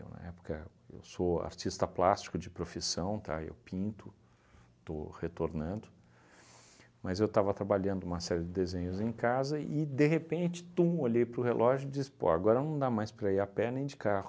Eu, na época, sou artista plástico de profissão, tá, eu pinto, estou retornando, mas eu estava trabalhando uma série de desenhos em casa e, de repente, tum, olhei para o relógio e disse, pô agora não dá mais para ir a pé nem de carro.